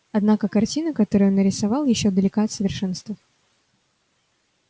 однако картина которую он нарисовал ещё далека от совершенства